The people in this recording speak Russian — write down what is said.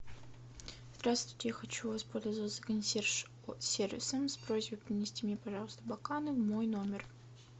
здравствуйте я хочу воспользоваться консьерж сервисом с просьбой принести мне пожалуйста бокалы в мой номер